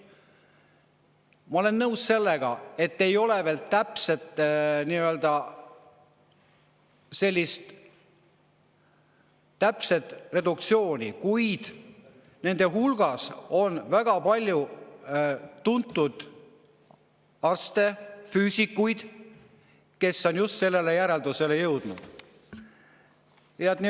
Ma olen nõus sellega, et täpset reduktsiooni veel ei ole, kuid on väga palju tuntud arste ja füüsikuid, kes on jõudnud just sellise järelduseni.